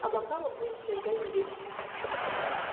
а пока вы будете ждать здесь